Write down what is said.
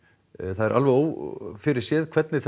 það er alveg ófyrirséð hvernig